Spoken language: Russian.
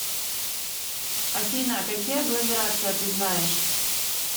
афина какие агломерация ты знаешь